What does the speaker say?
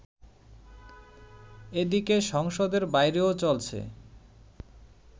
এদিকে সংসদের বাইরেও চলছে